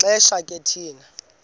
xesha ke thina